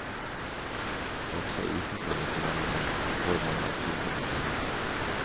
Også utenfor restaurantene får man adskillig for pengene.